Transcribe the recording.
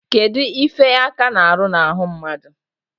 Kedu ife aka na-aru na-ahụ mmadu?